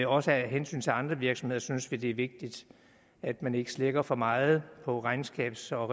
også af hensyn til andre virksomheder synes vi det er vigtigt at man ikke slækker for meget på regnskabs og